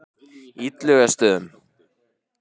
Illugastöðum